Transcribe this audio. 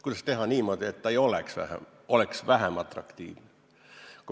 Kuidas teha niimoodi, et see oleks vähem atraktiivne?